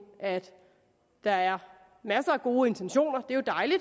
at der er masser af gode intentioner